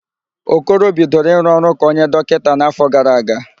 Okoro bidoro ịrụ ọrụ ka onye dọkịta n'áfọ̀ gara aga.